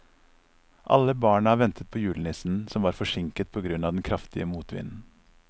Alle barna ventet på julenissen, som var forsinket på grunn av den kraftige motvinden.